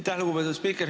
Aitäh, lugupeetud spiiker!